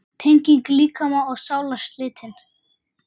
Tenging líkama og sálar slitin.